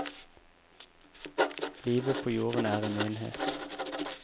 Livet på jorden er en enhet.